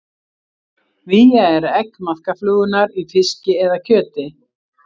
Vía er egg maðkaflugunnar í fiski eða kjöti.